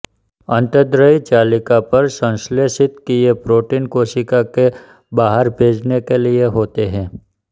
अन्तर्द्रयी जालिका पर संश्लेषित किए प्रोटीन कोशिका के बाहर भेजने के लिए होते हैं